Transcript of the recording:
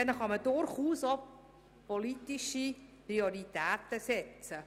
Damit könnte man durchaus auch politische Prioritäten setzen.